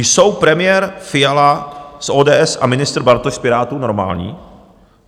Jsou premiér Fiala z ODS a ministr Bartoš z Pirátů normální?